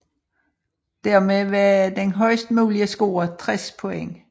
Dermed var den højest mulige score 60 point